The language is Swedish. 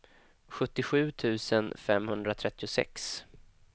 sjuttiosju tusen femhundratrettiosex